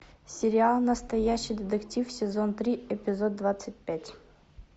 сериал настоящий детектив сезон три эпизод двадцать пять